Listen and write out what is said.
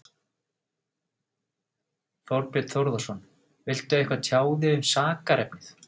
Þorbjörn Þórðarson: Viltu eitthvað tjá þig um sakarefnið?